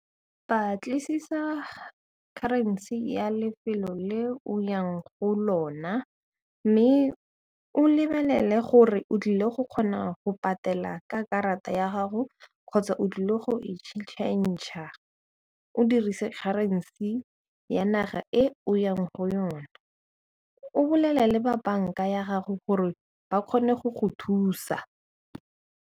Batlisisa currency ya lefelo le o yang go lona mme o lebelele gore o tlile go kgona go patela ka karata ya gago kgotsa o tlile go e change-r o dirise currency ya naga e o o yang go yona, o bolelele ba banka ya gago gore ba kgone go go thusa.